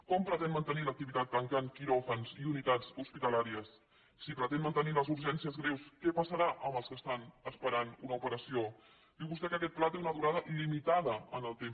com pretén mantenir l’activitat tancant quiròfans i unitats hospitalàries si pretén mantenir les urgències greus què passarà amb els que estan esperant una operació diu vostè que aquest pla té una durada limitada en el temps